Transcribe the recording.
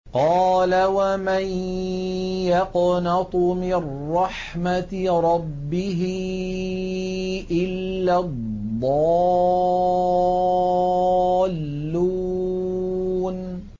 قَالَ وَمَن يَقْنَطُ مِن رَّحْمَةِ رَبِّهِ إِلَّا الضَّالُّونَ